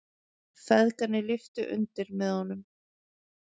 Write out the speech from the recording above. Feðgarnir lyftu undir með honum.